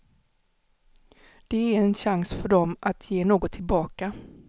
Det är en chans för dem att ge något tillbaka.